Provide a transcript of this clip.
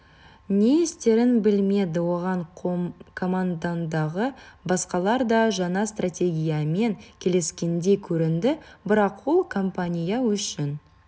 не істерін білмеді оған командадағы басқалар да жаңа стратегиямен келіскендей көрінді бірақ ол компания үшін